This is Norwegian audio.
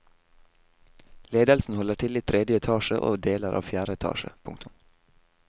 Ledelsen holder til i tredje etasje og deler av fjerde etasje. punktum